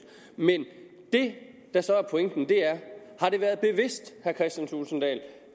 men det der så er pointen er har det været bevidst